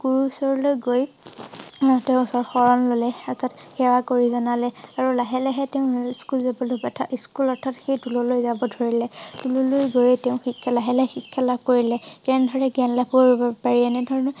গুৰু ওচৰলৈ গৈ তেওঁৰ শৰণ ললে। অৰ্থাৎ সেৱা কৰি জনালে আৰু লাহে লাহে তেওঁ স্কুল যাবলৈ স্কুল অৰ্থাৎ সেই টুললৈ যাব ধৰিলে। তুললৈ গৈ তেওঁ শিক্ষা লাগে লাহে শিক্ষা লাভ কৰিলে। জ্ঞান ধাৰে জ্ঞান লাভ কৰিব পাৰিলে। এনে ধৰণে